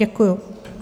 Děkuji.